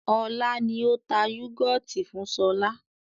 Ọlá ni ó tà yúgọ́ọ́tì fún sọlá